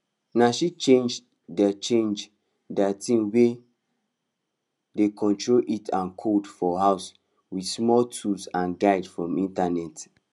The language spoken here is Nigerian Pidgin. na she change di change di ting wey dey control heat and cold for house wit small tools and guide from internet